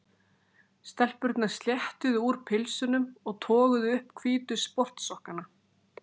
Stelpurnar sléttuðu úr pilsunum og toguðu upp hvítu sportsokkana.